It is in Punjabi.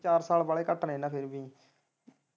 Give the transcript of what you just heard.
ਚਾਰ ਸਾਲ ਵਾਲੇ ਹੀ ਘੱਟ ਨੇ ਫਿਰ ਵੀ।